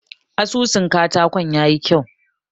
Asusun katakon ya yi kyau.